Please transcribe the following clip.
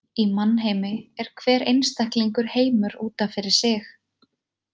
Í mannheimi er hver einstaklingur heimur út af fyrir sig.